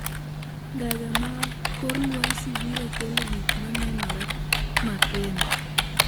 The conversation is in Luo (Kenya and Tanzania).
Ndege mag kor lwasi biro kelo gik ma nenore makende